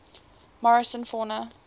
morrison fauna